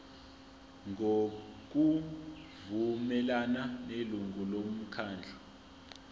ngokuvumelana nelungu lomkhandlu